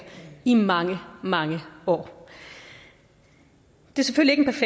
i mange mange år det er selvfølgelig